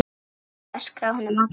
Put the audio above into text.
öskraði hún á móti.